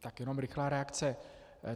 Tak jenom rychlá reakce.